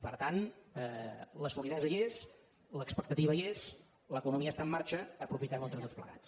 per tant la solidesa hi és l’expectativa hi és l’economia està en marxa aprofitem ho entre tots plegats